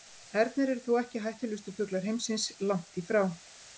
Ernir eru þó ekki hættulegustu fuglar heimsins, langt í frá.